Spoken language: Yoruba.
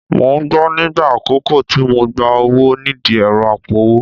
Mò ń gbọ̀n nígbà àkọ́kọ́ tí mo gba owó nídìí ẹ̀rọ apowó